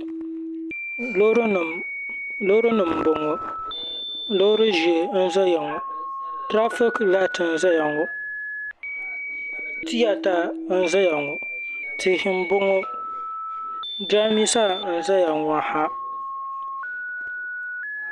Loori nima mboŋɔ loori ʒee n ʒeya ŋɔ tirafiki laati n zaya ŋɔ tiyata n zaya ŋɔ tihi mboŋɔ jirambisa n zayaŋɔ ha.